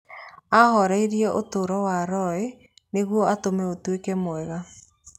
Aahoririe ũtũũro wa Roy nĩguo atũme ũtuĩke mwega".